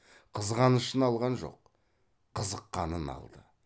қызғанышын алған жоқ қызыққанын алды